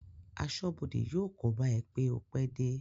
Aṣọ́bọdè yóò kóbá ẹ pé o pẹ́ dé